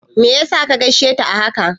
Me yasa ka gaishe ta a haka?